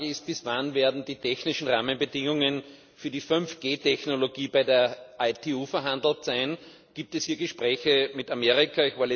Meine Frage ist, bis wann werden die technischen Rahmenbedingungen für die 5G Technologie bei der ITU verhandelt sein? Gibt es hier Gespräche mit Amerika?